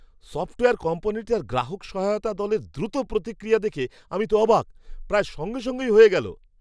Software কোম্পানিটার গ্রাহক সহায়তা দলের দ্রুত প্রতিক্রিয়া দেখে আমি তো অবাক! প্রায় সঙ্গে সঙ্গেই হয়ে গেল!